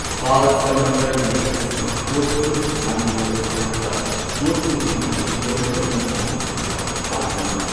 Balsamand lake ꯑꯁꯤ ꯖꯣꯙꯄꯨꯔ ꯃꯟꯗꯣꯔ ꯔꯣꯗꯇ ꯖꯣꯙꯄꯨꯔꯗꯒꯤ ꯀꯤꯂꯣꯃꯤꯇꯔ ꯃꯉꯥ ꯂꯥꯞꯅ ꯂꯩꯕ ꯄꯥꯠ ꯑꯃꯅꯤ꯫